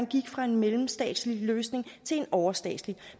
gik fra en mellemstatslig løsning til en overstatslig